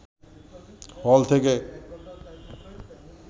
হল থেকে